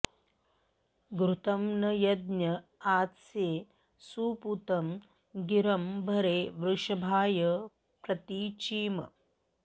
घृतं न यज्ञ आस्ये सुपूतं गिरं भरे वृषभाय प्रतीचीम्